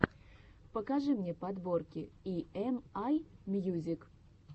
покажи мне подборки и эм ай мьюзик